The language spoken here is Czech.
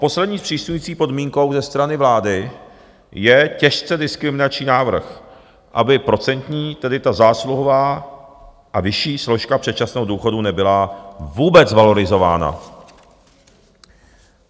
Poslední zpřísňující podmínkou ze strany vlády je těžce diskriminační návrh, aby procentní, tedy ta zásluhová a vyšší složka předčasného důchodu, nebyla vůbec valorizována.